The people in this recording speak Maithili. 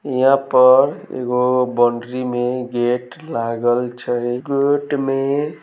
यहाँ पर एगो बाउंड्री में गेट लागल छै गेट में--